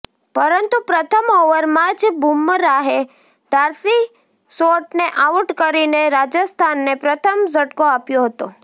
પરંતુ પ્રથમ ઓવરમાં જ બુમરાહે ડાર્સી શોર્ટને આઉટ કરીને રાજસ્થાનને પ્રથમ ઝટકો આપ્યો હતો